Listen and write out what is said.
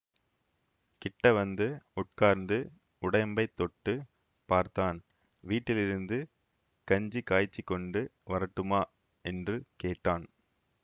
கிட்டவந்து உட்கார்ந்து உடயம்பைத் தொட்டு பார்த்தான் வீட்டிலிருந்து கஞ்சி காய்ச்சிக்கொண்டு வரட்டுமா என்று கேட்டான்